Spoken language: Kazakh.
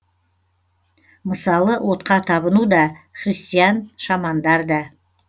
мысалы отқа табыну да христиан шамандар да